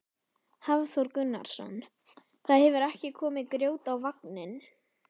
Hafþór Gunnarsson: Það hefur ekki komið grjót á vagninn?